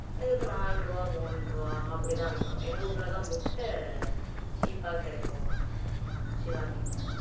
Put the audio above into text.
எங்களுக்கு நாலு ரூபாய் மூன்று ரூபாய் அப்படிதான் விக்கும் எங்க ஊர்ல எல்லாம் முட்டை cheap ஆ கிடைக்கும் ஷிவாங்கி